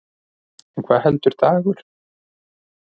En hvað heldur Dagur?